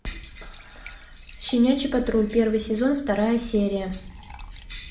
щенячий патруль первый сезон вторая серия